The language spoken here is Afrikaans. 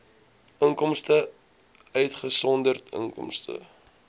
inkomste uitgesonderd inkomste